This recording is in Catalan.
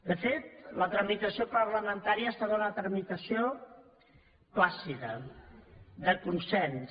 de fet la tramitació parlamentària ha estat una tramitació plàcida de consens